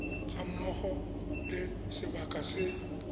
ga mmogo le sebaka se